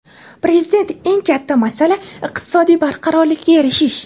Prezident: Eng katta masala – iqtisodiy barqarorlikka erishish.